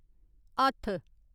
हत्थ